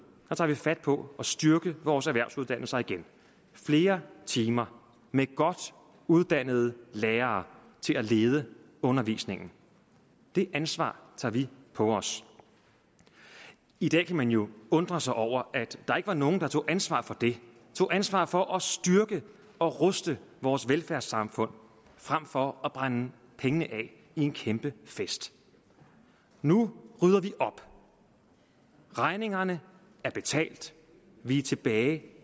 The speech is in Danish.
tager vi fat på at styrke vores erhvervsuddannelser igen flere timer med godt uddannede lærere til at lede undervisningen det ansvar tager vi på os i dag kan man jo undre sig over at der ikke var nogen der tog ansvar for det tog ansvar for at styrke og ruste vores velfærdssamfund frem for at brænde pengene af i en kæmpe fest nu rydder vi op regningerne er betalt vi er tilbage